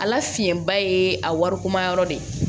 Ala fiɲɛba ye a wariko ma yɔrɔ de ye